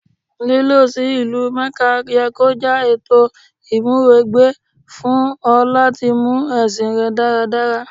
Lílọ sí ìlú Mẹ́kà ye kó jẹ́ ètò ìmúwẹgbẹ́ fún ọ láti mú ẹ̀sìn rẹ dáradára.